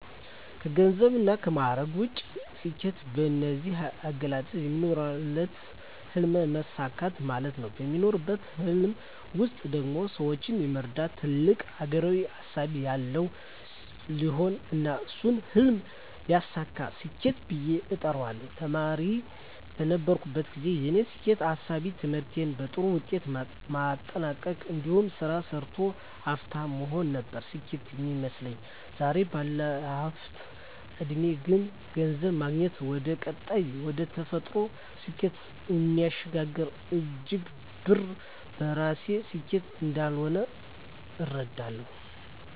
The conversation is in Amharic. ከገንዘብና ከማዕረግ ውጭ፣ ስኬት በኔ አገላለጽ የሚኖሩለትን ህልም ማሳካት ማለት ነው። በሚኖሩለት ህልም ውስጥ ደግሞ ሰወችን የመርዳትና ትልቅ አገራዊ እሳቤ ያለበት ሲሆን እና እሱን ህልም ሲያሳኩ ስኬት ብየ እጠራዋለሁ። ተማሪ በነበርኩበት ግዜ የኔ ስኬት እሳቤ ትምህርቴን በጥሩ ውጤት ማጠናቅ እንዲሁም ስራ ሰርቶ ሀፍታም መሆን ነበር ስኬት ሚመስለኝ። ዛሬ ባለሁበት እድሜ ግን ገንዘብ ማግኘት ወደቀጣይና ወደተፈጠሩለት ስኬት እሚያሸጋግር እንጅ ብር በራሱ ስኬት እንዳልሆነ እረዳለሁ።